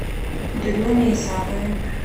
дрюне исакове